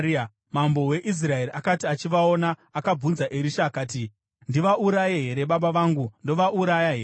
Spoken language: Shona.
Mambo weIsraeri akati achivaona, akabvunza Erisha akati, “Ndivauraye here, baba vangu? Ndovauraya here?”